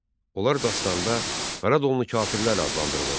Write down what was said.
Onlar dastanda Qaradonlu kafirlər adlandırılır.